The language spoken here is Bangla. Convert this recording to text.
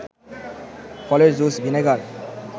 ফলের জুস, ভিনেগার